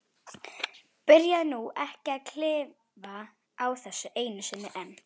Byrjaðu nú ekki að klifa á þessu einu sinni enn.